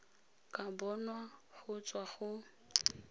ka bonwa go tswa go